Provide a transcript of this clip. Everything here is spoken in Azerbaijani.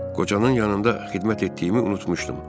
Qocanın yanında xidmət etdiyimi unutmuşdum.